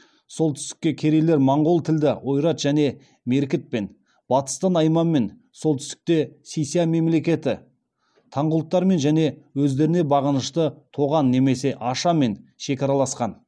солтүстікте керейлер монғол тілді ойрат және меркітпен батыста найманмен оңтүстікте си ся мемлекеті таңғұттармен және өздеріне бағынышты тоған немесе аша мен шекараласқан